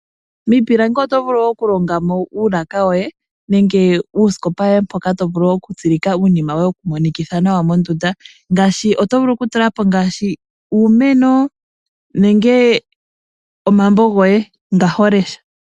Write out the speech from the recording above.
Miipilangi oto vulu okulongamo uulaka woye, nenge uusikopa woye mpoka tovulu okutsilika iinima yoye yokumonikitha nawa mondunda. Oto vulu okutulapo ngaashi uumeno, nenge omambo goye nga holesha.